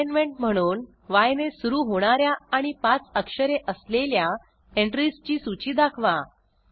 assignment म्हणून य ने सुरू होणा या आणि 5 अक्षरे असलेल्या एंट्रीजची सूची दाखवा